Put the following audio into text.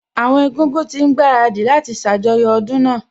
Àwọn Egúngún ti ń gbaradì láti ṣàjọyọ̀ ọdún náà